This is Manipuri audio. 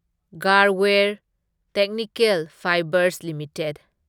Garware technical fibres limited